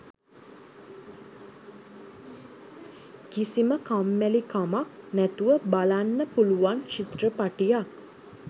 කිසිම කම්මැලිකමක් නැතුව බලන්න පුලුවන් චිත්‍රපටියක්